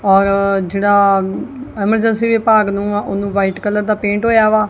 ਔਰ ਜੇਹੜਾ ਐਮਰਜੈਂਸੀ ਵਿਭਾਗ ਨੂੰ ਆ ਓਹਨੂੰ ਵ੍ਹਾਈਟ ਕਲਰ ਦਾ ਪੇਂਟ ਹੋਇਆ ਵਾ।